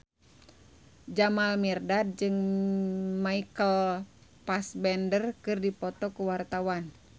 Jamal Mirdad jeung Michael Fassbender keur dipoto ku wartawan